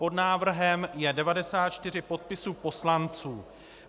Pod návrhem je 94 podpisů poslanců.